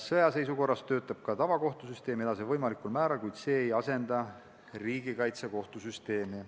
Sõjaseisukorra ajal töötab võimalikul määral edasi ka tavakohtusüsteem, kuid see ei asenda riigikaitsekohtu süsteemi.